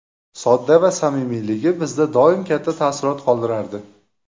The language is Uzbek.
Sodda va samimiyligi bizda doim katta taassurot qoldirardi.